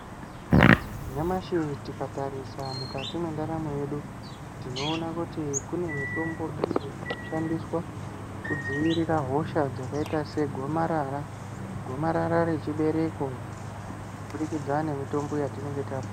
Nyamashi tikatarisa mukati mwendaramo yedu tinoona kuti kune mitombo iyo inoshandiswa kudzivirira hosha dzakaita segomarara, gomarara rechibereko, kuburikidza ngemitombo yatinenge ta...